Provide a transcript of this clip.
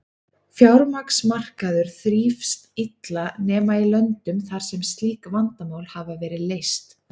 Fjármagnsmarkaður þrífst illa nema í löndum þar sem slík vandamál hafa verið leyst.